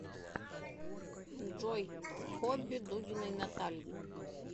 джой хобби дудиной натальи